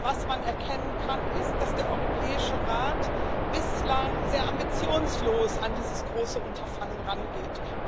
Was man erkennen kann, ist, dass der Europäische Rat bislang sehr ambitionslos an dieses große Unterfangen rangeht.